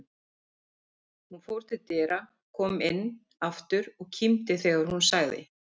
Hún fór til dyra, kom inn aftur og kímdi þegar hún sagði